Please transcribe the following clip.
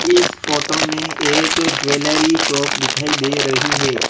इस फोटो में एक ज्वैलरी शॉप दिखाई दे रही है।